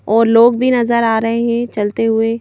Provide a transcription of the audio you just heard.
और लोग भी नजर आ रहे हैं चलते हुए --